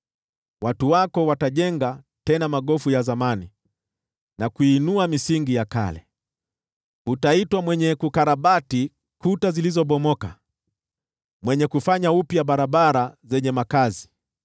Watu wako watajenga tena magofu ya zamani na kuinua misingi ya kale; utaitwa Mwenye Kukarabati Kuta Zilizobomoka, Mwenye Kurejeza Barabara za Makao.